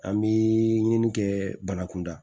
An bɛ ɲini kɛ banakunda